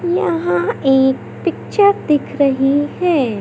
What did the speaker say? यहां एक पिक्चर दिख रही है।